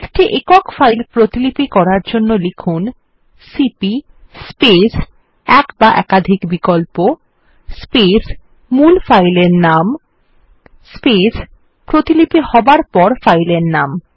একটি একক ফাইল প্রতিলিপি করার জন্য লিখুন সিপি স্পেস এক বা একাধিক বিকল্প স্পেস মূল ফাইল এর নাম স্পেস প্রতিলিপি হবার পর ফাইল এর নাম